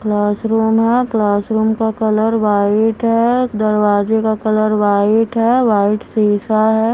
Classroom है classroom का colour white है दरवाजे का कलर वाइट है वाइट शीशा है।